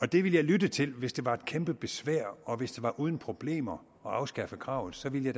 det ville jeg lytte til hvis det var et kæmpe besvær og hvis det var uden problemer at afskaffe kravet så ville